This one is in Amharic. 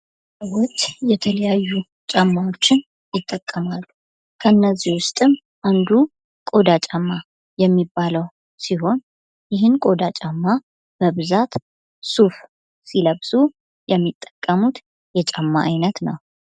ሰዎች የተለያዩ ጫማዎችን ይጠቀማሉ። ከእነዚህ ውስጥም አንዱ ቆዳ ጫማ የሚባለው ሲሆን፤ ይህም ቆዳ ጫማ በብዛት ሱፍ ሲለብሱ የሚጠቀሙት የጫማ ዓይነት ነው።